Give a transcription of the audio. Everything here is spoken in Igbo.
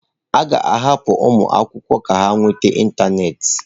A ga-ahapụ ụmụ akwụkwọ ka ha nweta ịntanetị.